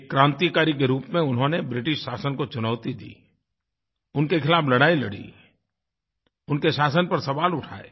एक क्रांतिकारी के रूप में उन्होंने ब्रिटिश शासन को चुनौती दी उनके ख़िलाफ़ लड़ाई लड़ी उनके शासन पर सवाल उठाए